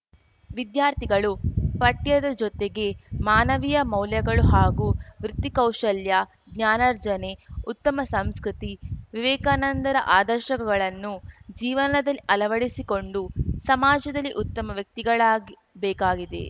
ವಿದ್ಯಾರ್ಥಿಗಳು ಪಠ್ಯದ ಜೊತೆಗೆ ಮಾನವೀಯ ಮೌಲ್ಯಗಳು ಹಾಗೂ ವೃತ್ತಿಕೌಶಲ್ಯ ಜ್ಞಾನರ್ಜನೆ ಉತ್ತಮ ಸಂಸ್ಕೃತಿ ವಿವೇಕಾನಂದರ ಅದರ್ಶಗಳನ್ನು ಜೀವನದಲ್ಲಿ ಅಳವಡಿಸಿಕೊಂಡು ಸಮಾಜದಲ್ಲಿ ಉತ್ತಮ ವ್ಯಕ್ತಿಗಳಾಗಿ ಬೇಕಿದೆ